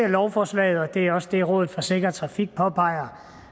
lovforslaget og det er også det rådet for sikker trafik påpeger